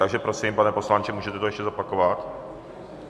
Takže prosím, pane poslanče, můžete to ještě zopakovat?